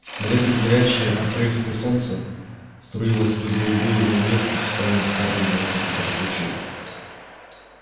на редкость горячее апрельское солнце струило сквозь голубые занавески в спальне скарлетт золотистый поток лучей